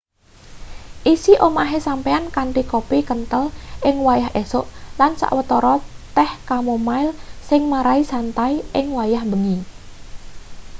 isi omahe sampeyan kanthi kopi kenthel ing wayah esuk lan sawetara teh chamomile sing marai santai ing wayah bengi